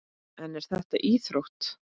En er þetta íþrótt?